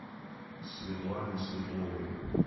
светлане светловой